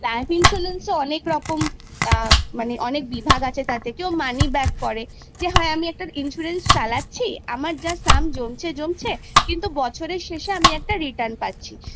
life insurance এর অনেকরকম মানে অনেক বিভাগ আছে যেমন কেউ money back করে যে আমি একটা insurance চালাচ্ছি আমার yearly একটা টাকা জমছে কিন্তু বছরের শেষে আমি return পাচ্ছি